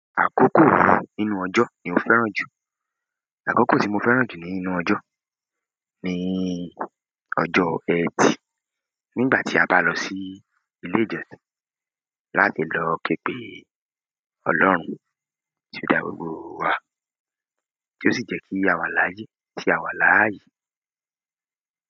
Àkókò wo nínú ọjọ́ ni o fẹ́ràn jù. Àkókò tí mo fẹ́ràn jù nínú ọjọ́ ni ọjọ́. Ẹtì. Nígbà tí a bá lọ sí ilé ìjọsìn láti lọ ké pe Ọlọ́run tí ó dá gbogbo wa, tí ó sì jẹ́ kí àwa láyé tì àwa láààyè.